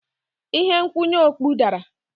Ihe nkwụnye okpu dara.